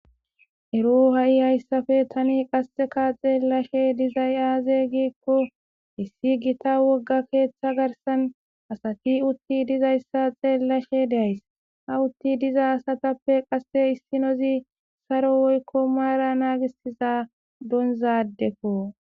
Ero ha' Tani haysappe xelashe dizay aaze gikoni issi Gita wogga keetha garsani asati utidi dizaysa xeelashe de'aysi, ha uti diza asatppe qase issinozi Saro woyko mara nagisiza donza adeko.